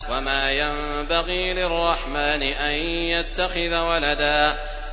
وَمَا يَنبَغِي لِلرَّحْمَٰنِ أَن يَتَّخِذَ وَلَدًا